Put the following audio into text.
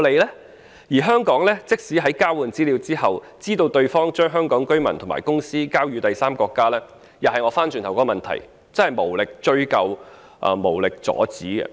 況且，香港即使在交換資料後，知道對方將香港居民及公司的資料交予第三個國家，也會面對相同的問題：無力追究、無力阻止。